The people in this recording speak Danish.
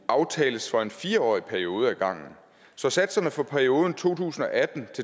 aftales for en fire årig periode ad gangen så satserne for perioden to tusind og atten